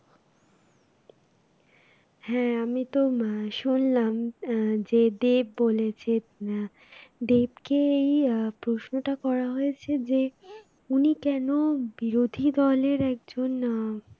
হ্যাঁ আমি তো শুনলাম আহ যে দেব বলেছে আহ দেবকেই আহ প্রশ্নটা করা হয়েছে যে উনি কেন বিরোধী দলের একজন আহ